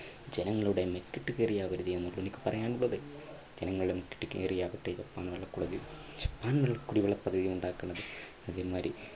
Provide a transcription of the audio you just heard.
ജനങ്ങളുടെ മെക്കിട്ട് കയറി ആവരുത് എന്ന് എനിക്ക് പറയാനുള്ളത്. ജനങ്ങളുടെ മെക്കിട്ട് കയറി ആവട്ടെ ജപ്പാൻ കുടിവെള്ള, ജപ്പാൻ കുടിവെള്ള പദ്ധതി ഉണ്ടാക്കുന്നത്. അത് ഒരു മാതിരി